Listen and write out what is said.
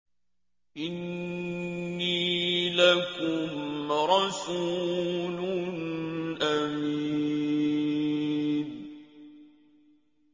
إِنِّي لَكُمْ رَسُولٌ أَمِينٌ